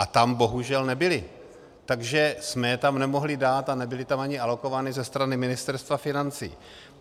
A tam bohužel nebyly, takže jsme je tam nemohli dát a nebyly tam ani alokovány ze strany Ministerstva financí.